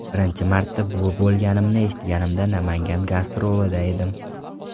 Birinchi marta buvi bo‘lganimni eshitganimda Namangan gastrolida edim.